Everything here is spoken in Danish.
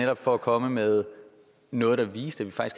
jo for at komme med noget der viser